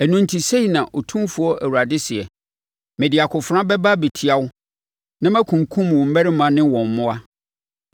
“ ‘Ɛno enti sei na Otumfoɔ Awurade seɛ: Mede akofena bɛba abɛtia wo na makunkum wo mmarima ne wɔn mmoa.